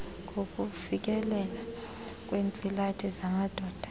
ngokufikeleleka kweentsilathi zamadoda